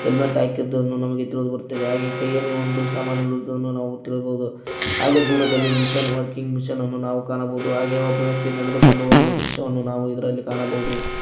Helmet ಹಾಕಿರುವುದು ನಮಗೆ ತಿಳಿದು ಬರುತ್ತದೆ ಹಾಗೆ ಕೈಯಲ್ಲಿ ಒಂದು ಸಾಮಾನ್ ಇರುವುದನ್ನು ನಾವು ತಿಳಿಯಬಹುದು ಹಾಗೆ ದೂರದಲ್ಲಿ ವರ್ಕಿಂಗ್ ಮೆಷಿನ್ ನಾವು ಕಾಣಬಹುದು ಆಗಿ ಒಬ್ಬ ವ್ಯಕ್ತಿ ಇದರಲ್ಲಿ ನಡೆದುಕೊಂಡು ಹೋಗುವ ದೃಶ್ಯವನ್ನು ಕಾಣಬಹುದು.